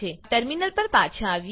terminal પર પાછા આવીએ